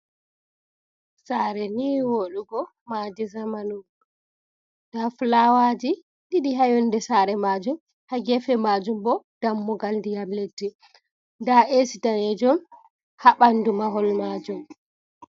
Saare ni woɗugo maadi zamanu nda fulawaji ɗiɗi ha yonde saare majum, ha gefe majum bo dammugal ndiyam leddi, nda esi danejum ha ɓandu mahol majum.